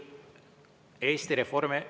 Eesti Reformi…